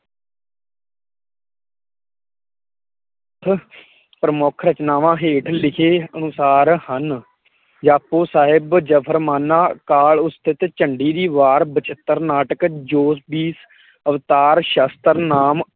ਪ੍ਰਮੁੱਖ ਰਚਨਾਵਾ ਹੇਠ ਲਿਖੇ ਅਨੁਸਾਰ ਹਨ, ਜਾਪੁ ਸਾਹਿਬ ਜਫ਼ਰਮਾਨਾ, ਕਾਲ ਉਸਤਤ ਝੰਡੀ ਦੀ ਵਾਰ ਬਚਿੱਤਰ ਨਾਟਕ ਜੋਤ ਦੀ ਅਵਤਾਰ ਸ਼ਸ਼ਤਰ ਨਾਮ